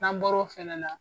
N'an bɔr'o fɛnɛ na